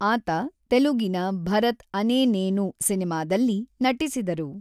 ಆತ ತೆಲುಗಿನ ಭರತ್ ಅನೇ ನೇನು ಸಿನಿಮಾದಲ್ಲಿ ನಟಿಸಿದರು.